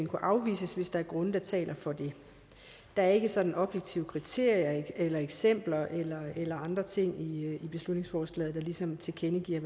kunne afvises hvis der er grunde der taler for det der er ikke sådanne objektive kriterier eksempler eller andre ting i beslutningsforslaget der ligesom tilkendegiver